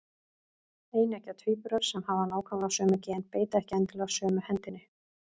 Eineggja tvíburar sem hafa nákvæmlega sömu gen beita ekki endilega sömu hendinni.